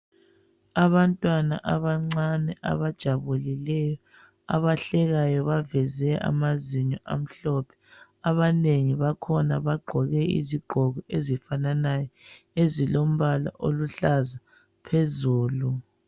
Abantwana abancane abajabulileyo abahlekayo abaveze amazinyo amhlophe Abanengi bakhona bagqoke izigqoko ezifananayo ezilombala oluhlaza phezulu.